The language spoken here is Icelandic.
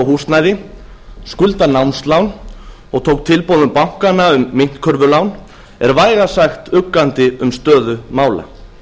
húsnæði skuldar námslán og tók tilboðum bankanna um myntkörfulán er vægast sagt uggandi um stöðu mála